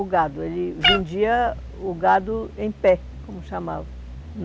O gado, ele vendia o gado em pé, como chamava.